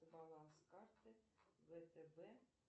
баланс карты втб